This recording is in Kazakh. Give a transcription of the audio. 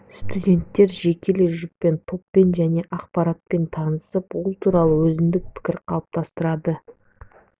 студенттер жекелей жұппен топпен жаңа ақпаратпен танысып ол туралы өзіндік пікір қалыптастырады